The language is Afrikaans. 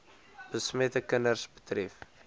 besmette kinders betref